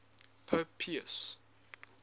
pope pius